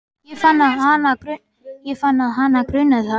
Ég fann að hana grunaði það.